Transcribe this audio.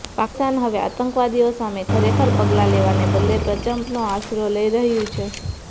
પાકિસ્તાન હવે આતંકવાદીઓ સામે ખરેખર પગલા લેવાને બદલે પ્રપંચનો આશરો લઈ રહ્યુ છે